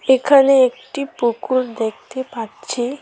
এখানে একটি পুকুর দেখতে পাচ্ছি।